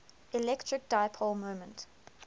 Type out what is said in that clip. electric dipole moment